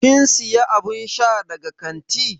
Kin siya abun sha daga kanti?